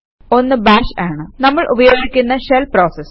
ഒന്ന് ബാഷ് ആണ് നമ്മൾ ഉപയോഗിക്കുന്ന ഷെൽ പ്രോസസ്